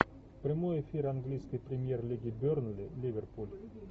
прямой эфир английской премьер лиги бернли ливерпуль